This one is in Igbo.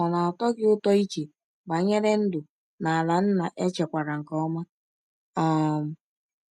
Ọ na-atọ gị ụtọ iche banyere ndụ n’ala nna echekwara nke ọma? um